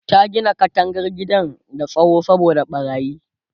ta Gina katangar gidan da tsawo saboda ɓarayin